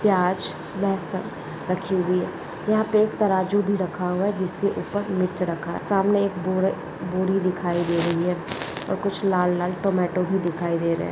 प्याज व फल रखी हुई है यहा पे एक तराजू भी रखा हुआ है जिसके ऊपर एक मिर्च रखा है सामने एक बोरे बोरी दिखाई दे रही है और कुछ लाल लाल टोमेटो भी दिखाई दे रहे है।